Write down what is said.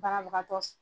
Banabagatɔ